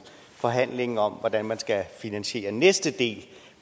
forhandlingen om hvordan man skal finansiere næste del